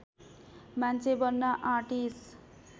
मान्छे बन्न आँटिस